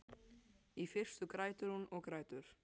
Í fyrstu grætur hún og grætur.